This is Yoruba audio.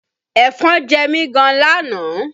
Ẹ̀fọn jẹ mi gan lánàá